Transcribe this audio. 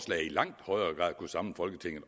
langt højere grad kunne samle folketinget